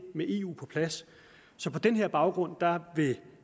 med eu på plads så på den baggrund vil